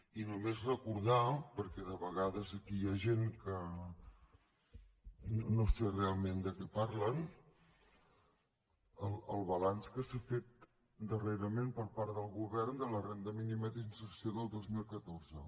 i només recordar perquè de vegades aquí hi ha gent que no sé realment de què parlen el balanç que s’ha fet darrerament per part del govern de la renda mínima d’inserció del dos mil catorze